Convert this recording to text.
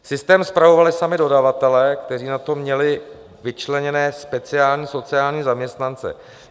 Systém spravovali sami dodavatelé, kteří na to měli vyčleněné speciální sociální zaměstnance.